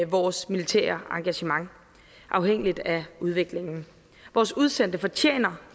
vores militære engagement afhængigt af udviklingen vores udsendte fortjener